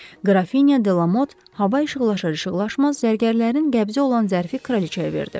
Qrafinya de Lamot hava işıqlaşar-işıqlaşmaz zərgərlərin qəbzi olan zərfi kraliçaya verdi.